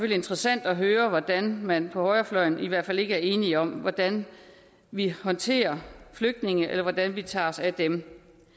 interessant at høre hvordan man på højrefløjen i hvert fald ikke er enige om hvordan vi håndterer flygtninge eller hvordan vi tager os af dem